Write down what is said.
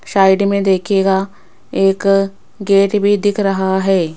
Side में देखिएगा एक गेट भी दिख रहा है।